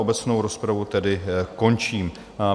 Obecnou rozpravu tedy končím.